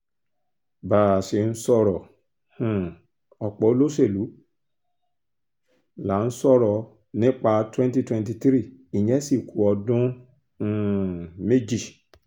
bá a ṣe ń sọ̀rọ̀ um ọ̀pọ̀ olóṣèlú là ń sọ̀rọ̀ nípa twenty twenty three ìyẹn sì ku ọdún um méjì